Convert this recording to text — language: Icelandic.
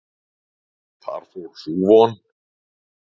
Þá fór sú von!